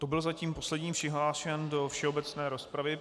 To byl zatím poslední přihlášený do všeobecné rozpravy.